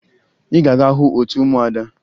Ị ga-aga hụ otu ụmụada!